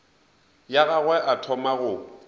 ya gagwe a thoma go